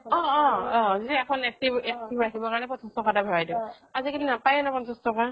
অহ অহ অহ যে সেইখন active ৰাখিব কাৰনে পঞ্চাছ টকা ভৰাই দিও আজি কালি নাপাই ন পঞ্চাছ টকা